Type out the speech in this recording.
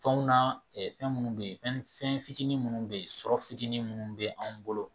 Fɛnw na fɛn minnu bɛ yen fɛn fitinin minnu bɛ yen sɔrɔ fitinin minnu bɛ anw bolo